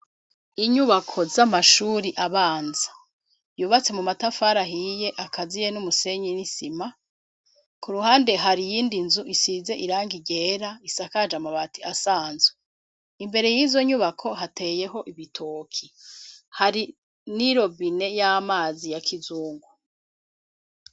Inyubako z'amashuri abanza, yubatse mu matafari ahiye, akaziye n'umusenyi n'isima; ku ruhande hari iyindi nzu, isize irangi ryera, isakaje amabati asanzwe; imbere y'izo nyubako, hateyeho ibitoke, hari n'irobine y'amazi, ya kizungu.